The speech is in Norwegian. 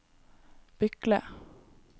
Bykle